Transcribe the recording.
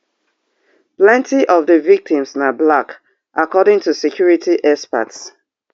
plenti of di victims na black according to security experts